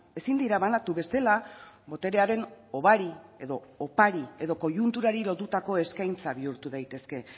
ezin dira banatu bestela boterearen hobari edo opari edo koiunturari lotutako eskaintza bihurtu daitezke